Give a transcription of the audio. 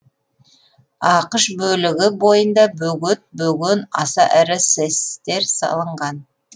ақш бөлігі бойында бөгет бөген аса ірі сэс тер салынған